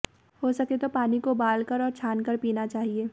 हो सके तो पानी को उबाल कर और छान कर पीना चाहिए